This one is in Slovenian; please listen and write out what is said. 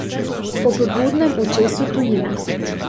Ob budnem očesu tujine.